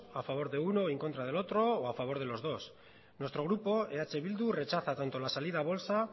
a favor de uno y en contra del otro o a favor de los dos nuestro grupo eh bildu rechaza tanto la salida a bolsa